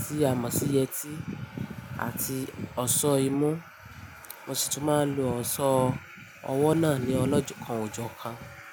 tí a mọ̀ sí yeti àti ọ̀ṣọ́ imú. Mo sì tún máa ń lo ọ̀ṣọ́ ọwọ́ náà ní ọlọ́jọ́ kan òjọ́ kan.